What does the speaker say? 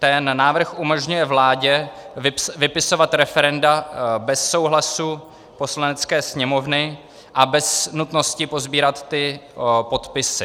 Ten návrh umožňuje vládě vypisovat referenda bez souhlasu Poslanecké sněmovny a bez nutnosti posbírat ty podpisy.